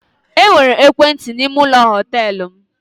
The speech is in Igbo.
E nwere ekwentị n'ime ụlọ họtelụ m.